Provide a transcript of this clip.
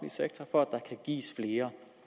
sektor for at der kan gives flere